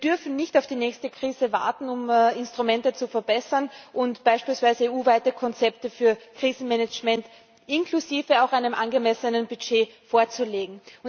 Wir dürfen nicht auf die nächste Krise warten, um die Instrumente zu verbessern und beispielsweise EU weite Konzepte für Krisenmanagement, inklusive eines angemessenen Budgets, vorzulegen.